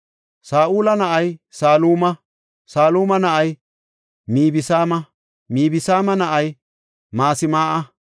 Saa7ula na7ay Saluma; Saluma na7ay Mibsaama; Mibsaama na7ay Masmaa7a;